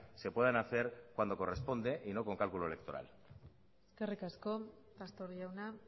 se puedan hacer cuando corresponde y no con cálculo electoral eskerrik asko pastor jauna